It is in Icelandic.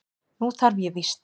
Nú þarf ég víst.